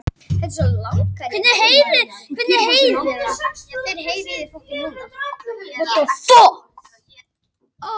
Að lokum festast þær nær allar hver við aðra og þá er frostmarki náð.